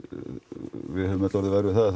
við höfum öll orðið vör við það að